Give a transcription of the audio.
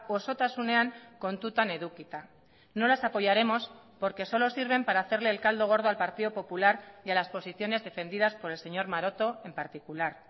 osotasunean kontutan edukita no las apoyaremos porque solo sirven para hacerle el caldo gordo al partido popular y a las posiciones defendidas por el señor maroto en particular